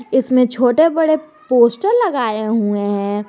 इसमें छोटे बड़े पोस्टर लगाए हुए हैं।